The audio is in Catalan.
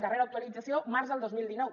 darrera actualització març del dos mil dinou